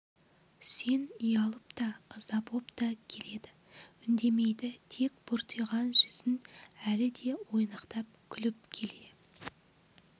үсен ұялып та ыза боп та келеді үндемейді тек бұртиған жүзін әлі де ойнақтап күліп келе